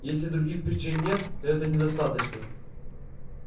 если других причин нет то этого недостаточно